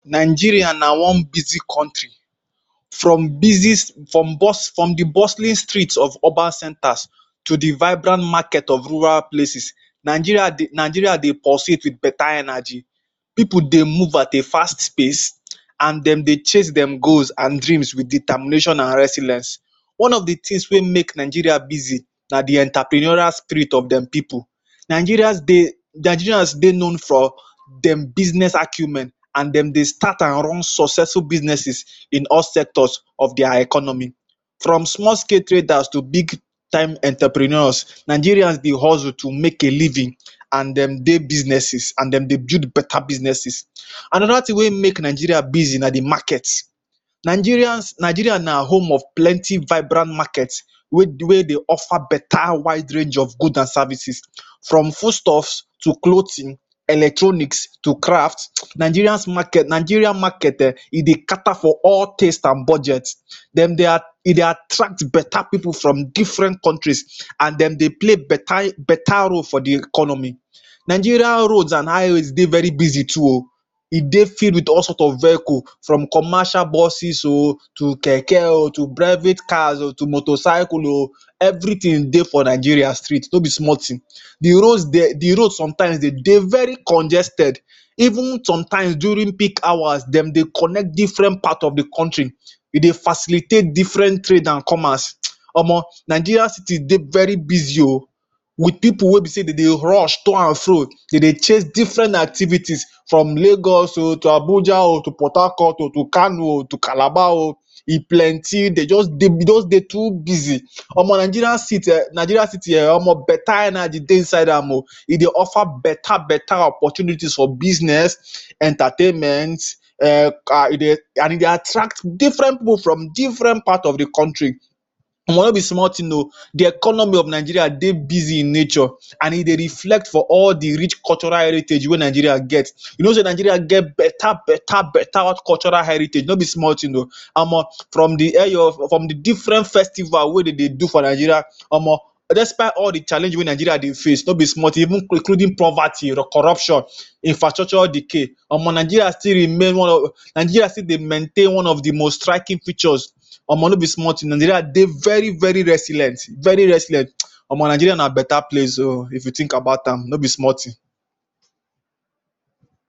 Nigeria na one busy country. From busy from bus from the bustling street of urban centres to the vibrant market of rural places. Nigeria dey Nigeria dey pursuit with better energy. Pipu dey move at a fast pace [um]and dem dey chase dem goals and dreams with determination and resilience. One on the thing wey make Nigeria busy na the entrepreneurial street of dem people. Nigeria dey Nigeria dey known for dem business acumen and dem dey start and run successful businesses in all sectors of their economy. From small scale traders to big time entrepreneurs. Nigerian dey hustle to make a living and dem dey businesses. And dem dey build better businesses. Another thing wey make Nigeria busy na the market. Nigerians Nigeria na home of plenty vibrant market wey wey dey offer better wide range of goods and services um from foodstuff to clothing, electronics to craft um. Nigerians market Nigeria market um, e dey cater for all taste and budget. Dem dey a dem attract better pipu from different countries and dem dey play better better role for the economy. Nigeria roads and highways dey very busy too oh. E dey filled with all sought of vehicle. From commercial busses o,h to keke, oh to private cars, oh to motorcycle oh. Everything dey for Nigeria street. No be small thing. The road de, the road sometimes dey dey very congested. Even sometimes during peak hours, dem dey connect different part of the country. E dey facilitate different trade and commerce um. Omo Nigeria city dey very busy oh with pipu wey be sey dem dey rush to and fro. E dey chase different activities from lagos oh, to Abuja oh, to Port Harcourt oh to Kano oh, to Calabar oh, e plenty. Dem just dey dem just dey too busy um. Omo Nigeria city um Nigeria city um omo better energy dey inside am oh. E dey offer better better opportunities for business um, entertainment um ka e dey and e dey attract different different people from different part of the country. um No be small thing oh. The economy of Nigeria dey busy in nature and e dey reflect for all the rich cultural heritage wey Nigeria get. You know sey Nigeria get better better better hot cultural heritage. No be small thing oh. Omo from th Eyo oh, from the different festival wey dem dey do for Nigeria. Omo despite all the challenges wey Nigeria dey face, no be small thing, even including poverty, corruption, infrastructural decay, omo Nigeria still remain one of, Nigeria still dey maintain one of the most striking pictures. Omo no be small thing oh. Nigeria dey very very resilient very resilient um. Omo Nigeria na better place oh if you think about am. No be small thing.